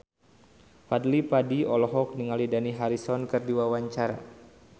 Fadly Padi olohok ningali Dani Harrison keur diwawancara